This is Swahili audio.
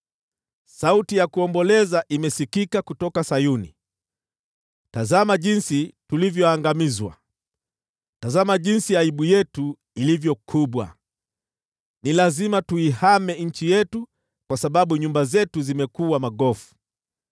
Sauti ya kuomboleza imesikika kutoka Sayuni: ‘Tazama jinsi tulivyoangamizwa! Tazama jinsi aibu yetu ilivyo kubwa! Ni lazima tuihame nchi yetu kwa sababu nyumba zetu zimekuwa magofu.’ ”